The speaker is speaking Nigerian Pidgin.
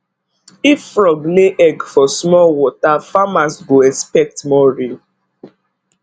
if frog lay egg for small water farmers go expect more rain